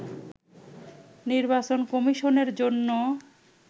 নির্বাচন কমিশনের জন্য